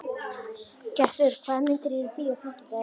Gestur, hvaða myndir eru í bíó á fimmtudaginn?